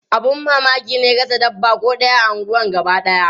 Abun mamaki ne rasa dabba ko ɗaya a unguwar gabadaya.